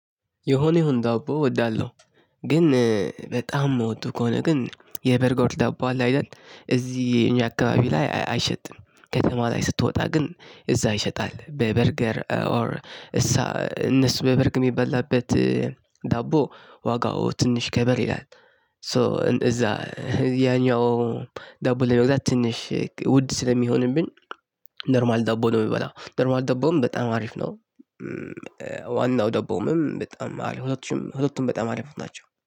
የሆነ ይሁን ዳቦ እወዳለሁ። ግን በጣም ምወደው ከሆነ ግን የበርገር ዳቦ አለ አይደል እዚህ እኛ አካባቢ ላይ አይሸጥም ከተማ ላይ ስትወጣ ግን እዛ ይሸጣል። በርገር ኦር እነሱ የበርግ የሚበላበት ዳቦ ዋጋው ትንሽ ከበድ ይላል። ሶ እዛ ያኛው ዳቦ ለመግዛት ትንሽ ውድ ስለሚሆንብኝ። ኖርማል ዳቦ ነው የምበላው ኖርማል ዳቦም በጣም አሪፍ ነው። ዋናው ዳቦምም በጣም አለ ሁለቱም ሁለቱም በጣም አሪፍ ናቸው